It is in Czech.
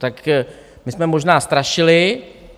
Tak my jsme možná strašili.